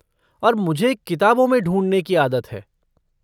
और मुझे किताबों में ढूँढने की आदत है।